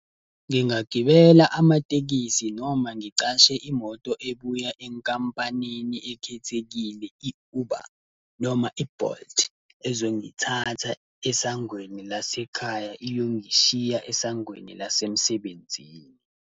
Ngingagibela amatekisi, noma ngicashe imoto ebuya enkampanini ekhethekile i-Uber noma i-Bolt, ezongithatha esangweni lasekhaya iyongishiya esangweni lasemsebenzini.